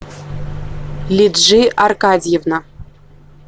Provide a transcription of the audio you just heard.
лиджи аркадьевна